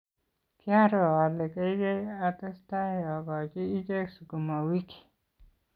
kiaro ale keikei atestai akochi ichek sukuma wiki